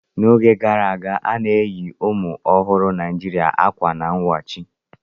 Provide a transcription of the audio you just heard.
N'oge gara aga, a na-eyi ụmụ ọhụrụ Naijiria akwa n wachi.